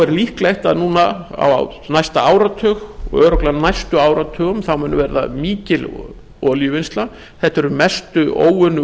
er líklegt að á næsta áratug og örugglega næstu áratugum muni verða mikil olíuvinnsla þetta eru mestu óunnu